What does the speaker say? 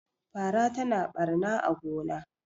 fara tana barna a gona